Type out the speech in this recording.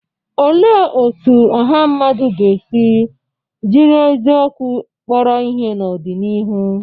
Olee otú ọha mmadụ ga-esi jiri eziokwu kpọrọ ihe n'ọdịnihu?